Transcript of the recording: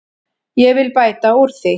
Ég vil bæta úr því.